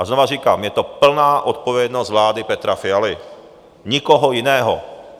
A znova říkám, je to plná odpovědnost vlády Petra Fialy, nikoho jiného.